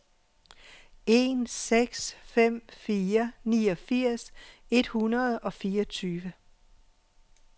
en seks fem fire niogfirs et hundrede og fireogtyve